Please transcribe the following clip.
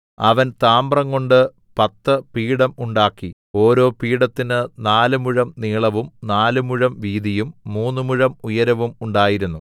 അവൻ താമ്രംകൊണ്ട് പത്ത് പീഠം ഉണ്ടാക്കി ഓരോ പീഠത്തിന് നാല് മുഴം നീളവും നാല് മുഴം വീതിയും മൂന്ന് മുഴം ഉയരവും ഉണ്ടായിരുന്നു